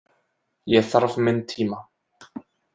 Ég þarf minn tíma.